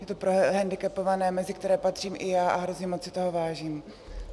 Je to pro hendikepované, mezi které patřím i já, a hrozně moc si toho vážím.